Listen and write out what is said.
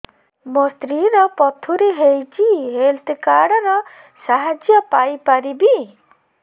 ମୋ ସ୍ତ୍ରୀ ର ପଥୁରୀ ହେଇଚି ହେଲ୍ଥ କାର୍ଡ ର ସାହାଯ୍ୟ ପାଇପାରିବି